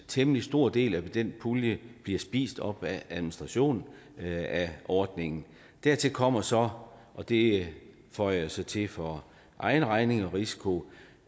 temmelig stor del af den pulje bliver spist op af administration af ordningen dertil kommer så og det føjer jeg så til for egen regning og risiko